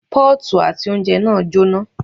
Pọ́ọ̀tù àti oúnjẹ náà jọ́ná.